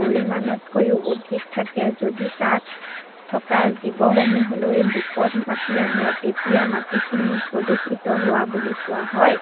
পৰিমানতকৈও অধিক থাকে যদি তাত থকা জীৱ সমূহলৈ বিপদ মাতি আনে তেতিয়া মাটিখিনি প্ৰদূৰ্ষিত হোৱা বুলি কোৱা হয়।